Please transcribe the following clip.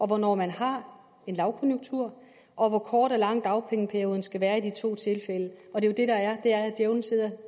hvornår man har en lavkonjunktur og hvor kort og lang dagpengeperioden skal være i de to tilfælde og det der er er at djævelen sidder